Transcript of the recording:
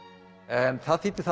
en það þýddi það